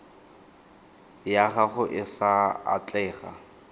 ya gago e sa atlega